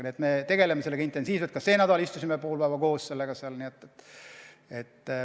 Nii et me tegeleme sellega intensiivselt, ka see nädal istusime pool päeva koos seda arutades.